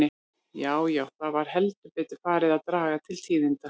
Já, já, það var heldur betur farið að draga til tíðinda!